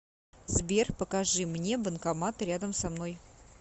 сбер покажи мне банкоматы рядом со мной